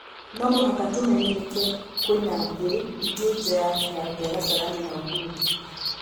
" Nomũhaka tũmenyeka kwĩna thĩ ĩngĩ nja ya kĩharo gĩa Kasarani na Uhuru.